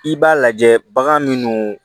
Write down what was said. I b'a lajɛ bagan minnu